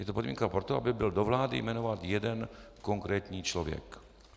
Je to podmínka pro to, aby byl do vlády jmenován jeden konkrétní člověk.